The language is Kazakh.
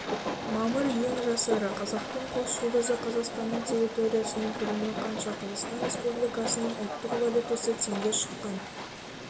мамыр ең жас эра қазақтың қос жұлдызы қазақстанныңтерриториясыың көлемі қанша қазақстан республикасының ұлттық валютасы теңге шыққан